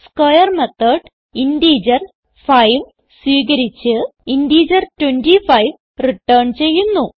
square method integer 5 സ്വീകരിച്ച് integer 25 return ചെയ്യുന്നു